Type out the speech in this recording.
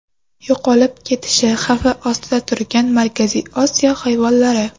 Yo‘qolib ketish xavfi ostida turgan Markaziy Osiyo hayvonlari .